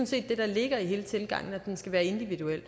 set det der ligger i hele tilgangen nemlig at den skal være individuel